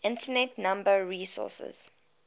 internet number resources